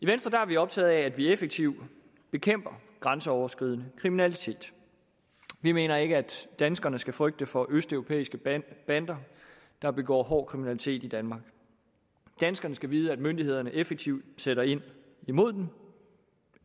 venstre er optaget af at vi effektivt bekæmper grænseoverskridende kriminalitet vi mener ikke at danskerne skal frygte for østeuropæiske bander bander der begår hård kriminalitet i danmark danskerne skal vide at myndighederne effektivt sætter ind imod dem